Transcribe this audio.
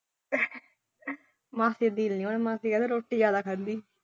ਮਾਸੀ ਕਹਿੰਦੀ ਰੋਟੀ ਜ਼ਿਆਦਾ ਖਾਂਦੀ।